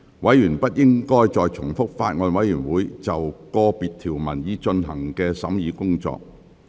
委員不應重複法案委員會就個別條文已進行的審議工作。